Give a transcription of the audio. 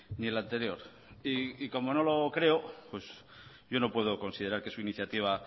ni el anterior y como no lo creo yo no puedo considerar que su iniciativa